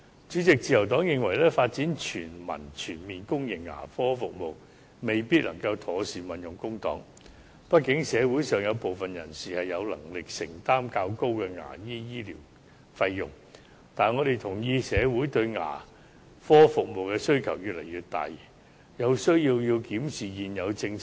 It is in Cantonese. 主席，自由黨認為，發展全民全面公營牙科服務，未必能夠妥善運用公帑，畢竟社會上有部分人士是有能力承擔較高的牙科醫療費用的，但我們同意社會對牙科服務的需求越來越大，有需要檢視現有政策。